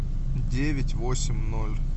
девять восемь ноль